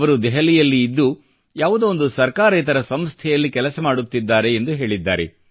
ಅವರು ದೆಹಲಿಯಲ್ಲಿ ಇದ್ದು ಯಾವುದೋ ಒಂದು ಸರ್ಕಾರೇತರ ಸಂಸ್ಥೆಯಲ್ಲಿ ಕೆಲಸ ಮಾಡುತ್ತಿದ್ದಾರೆ ಎಂದು ಹೇಳಿದ್ದಾರೆ